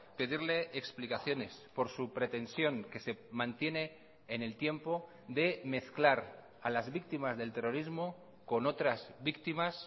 pedirle explicaciones por su pretensión que se mantiene en el tiempo de mezclar a las víctimas del terrorismo con otras víctimas